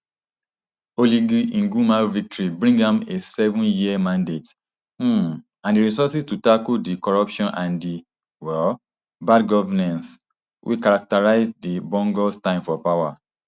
oligui nguema victory bring am a sevenyear mandate um and di resources to tackle di corruption and um bad governance wey characterised di bongos time for power